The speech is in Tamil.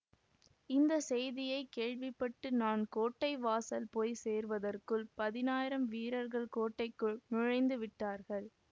இந்த செய்தியை கேள்வி பட்டு நான் கோட்டை வாசல் போய் சேர்வதற்குள் பதினாயிரம் வீரர்கள் கோட்டைக்குள் நுழைந்துவிட்டார்கள்